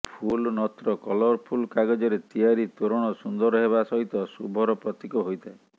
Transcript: ଫୁଲ ନତ୍ର କଲରଫୁଲ୍ କାଗଜରେ ତିଆରି ତୋରଣ ସୁନ୍ଦର ହେବା ସହିତ ଶୁଭର ପ୍ରତୀକ ହୋଇଥାଏ